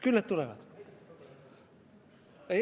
Küll nad tulevad.